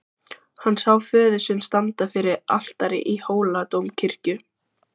Hann sá föður sinn standa fyrir altari í Hóladómkirkju.